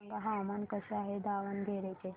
सांगा हवामान कसे आहे दावणगेरे चे